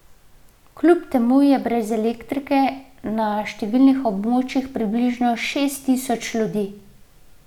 Kljub temu je brez elektrike na številnih območjih približno šest tisoč ljudi.